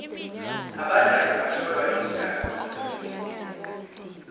abadlali bahlolwa iindakamizwa emzimbeni